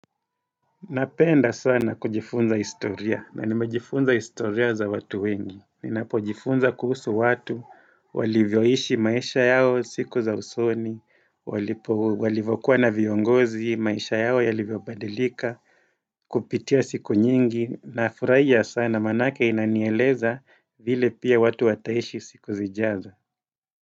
Napenda sana kujifunza historia na nimejifunza historia za watu wengi Ninapojifunza kuhusu watu, walivyoishi maisha yao siku za usoni Walivokuwa na viongozi, maesha yao yalivyobadilika, kupitia siku nyingi Nafuraija sana manake inanieleza vile pia watu wataishi siku zijaza.